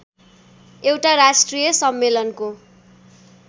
एउटा राष्ट्रिय सम्मेलनको